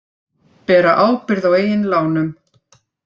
Bera ábyrgð á eigin lánum